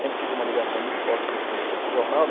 Sempre tive uma ligação muito forte com esse, com esse jornal.